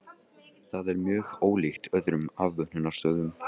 Það er mjög ólíkt öðrum afvötnunarstöðvum.